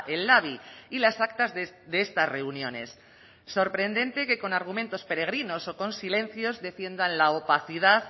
el labi y las actas de estas reuniones sorprendente que con argumentos peregrinos o con silencios defiendan la opacidad